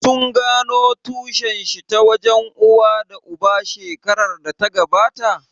Sun gano tushen shi ta wajen uwa da uba shekarar da ta gabata?